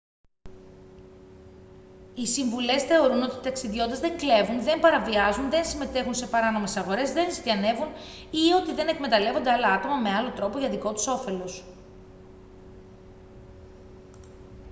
οι συμβουλές θεωρούν ότι οι ταξιδιώτες δεν κλέβουν δεν παραβιάζουν δεν συμμετέχουν σε παράνομες αγορές δεν ζητιανεύουν ή ότι δεν εκμεταλλεύονται άλλα άτομα με άλλο τρόπο για δικό τους όφελος